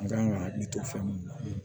An kan ka hakili to fɛn mun na